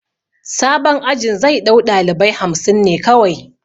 Sabon ajin zai ɗau ɗalibai hamsin ne kawai